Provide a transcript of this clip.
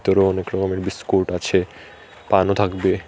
ভেতরে অনেক রকমের বিস্কুট আছে পানও থাকবে।